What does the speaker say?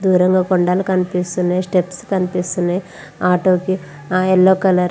దూరంలో కొండలు కనిపిస్తున్నాయి. స్టెప్స్ కనిపిస్తున్నాయి. ఆటో కి యెల్లో కలర్ --